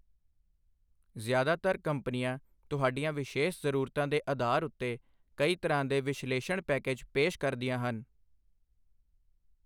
ਜ਼ਿਆਦਾਤਰ ਕੰਪਨੀਆਂ ਤੁਹਾਡੀਆਂ ਵਿਸ਼ੇਸ਼ ਜ਼ਰੂਰਤਾਂ ਦੇ ਅਧਾਰ ਉੱਤੇ ਕਈ ਤਰ੍ਹਾਂ ਦੇ ਵਿਸ਼ਲੇਸ਼ਣ ਪੈਕੇਜ ਪੇਸ਼ ਕਰਦੀਆਂ ਹਨ।